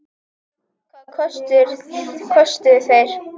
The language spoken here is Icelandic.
Hvað kostuðu þeir?